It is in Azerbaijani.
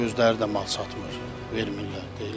Həm də ki özləri də mal satmır, vermirlər.